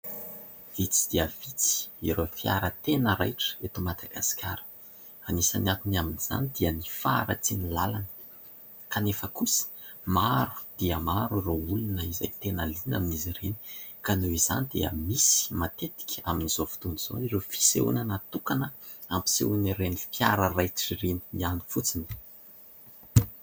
Vitsy dia vitsy ireo fiara tena raitra eto Madagasikara. Anisan'ny akony amin'izany dia ny faharatsian'ny lalana, kanefa kosa maro dia maro ireo olona izay tena liana amin'izy ireny ka noho izany dia misy matetika amin'izao fotoana izao ireo fisehoana natokana hampisehoana ireny fiara raitra ireny ihany fotsiny.